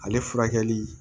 Ale furakɛli